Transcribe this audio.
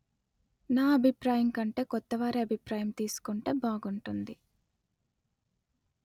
నా అభిప్రాయము కంటే కొత్త వారి అభిప్రాయము తీసుకుంటే బాగుంటుంది